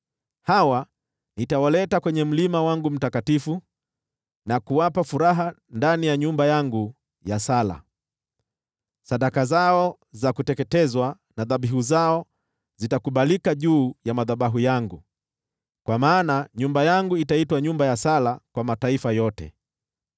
hawa nitawaleta kwenye mlima wangu mtakatifu na kuwapa furaha ndani ya nyumba yangu ya sala. Sadaka zao za kuteketeza na dhabihu zao zitakubalika juu ya madhabahu yangu; kwa maana nyumba yangu itaitwa nyumba ya sala kwa mataifa yote.”